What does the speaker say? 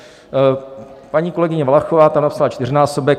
Paní kolegyně Valachová tam napsala čtyřnásobek.